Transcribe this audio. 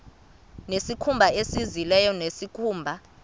nezikhumba zezilo nezikhumba